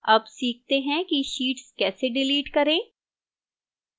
अब सीखते हैं कि sheets कैसे डिलीट करें